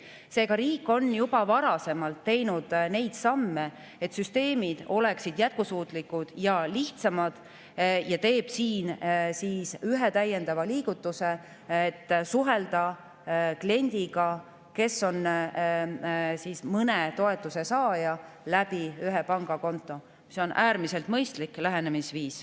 Seega on riik juba varasemalt teinud neid samme, et süsteemid oleksid jätkusuutlikud ja lihtsamad, ja teeb siin ühe täiendava liigutuse, et suhelda kliendiga, kes on mõne toetuse saaja, ühe pangakonto kaudu, mis on äärmiselt mõistlik lähenemisviis.